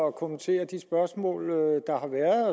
og kommentere de spørgsmål der har været